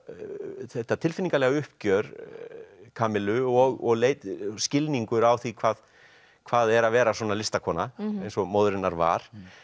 þetta tilfinningalega uppgjör og skilningur á því hvað hvað er að vera svona listakona eins og móðir hennar var